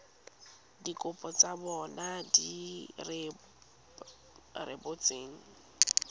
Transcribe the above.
dikopo tsa bona di rebotsweng